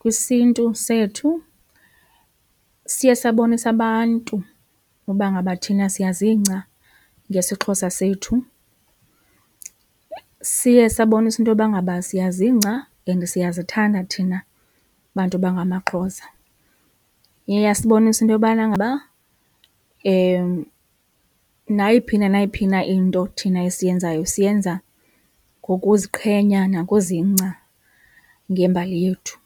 kwisiNtu sethu. Siye sabonisa abantu uba ngaba thina siyazingca ngesiXhosa sethu, siye sabonisa intoba ngaba siyazingca and siyazithanda thina bantu bangamaXhosa. Iye yasibonisa into yobana ngaba nayiphi na nayiphi na into thina esiyenzayo siyenza ngokuziqhenya nangozingca ngembali yethu.